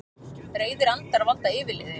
Reiðir andar valda yfirliði